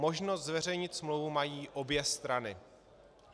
Možnost zveřejnit smlouvu mají obě strany.